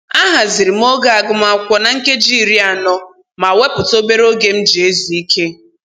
Ahaziri m oge agụmakwụkwọ na nkeji iri anọ ma wepụta obere oge m ji ezu ike